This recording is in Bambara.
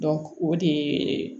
o de yeee